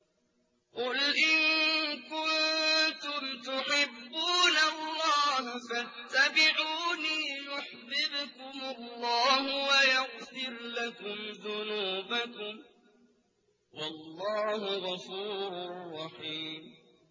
قُلْ إِن كُنتُمْ تُحِبُّونَ اللَّهَ فَاتَّبِعُونِي يُحْبِبْكُمُ اللَّهُ وَيَغْفِرْ لَكُمْ ذُنُوبَكُمْ ۗ وَاللَّهُ غَفُورٌ رَّحِيمٌ